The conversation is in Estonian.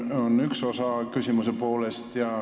See on üks osa küsimusest.